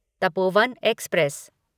Tapovan express